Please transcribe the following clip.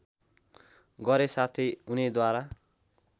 गरे साथै उनैद्वारा